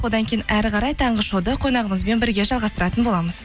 одан кейін әрі қарай таңғы шоуды қонағымызбен бірге жалғастыратын боламыз